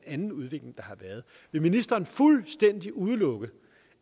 en anden udvikling der har været vil ministeren fuldstændig udelukke